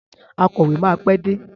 Akọ̀wé máa pé dé.